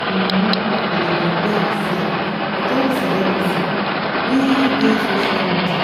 mumu go dey compare hersef wit all dis celebrity wey dey social.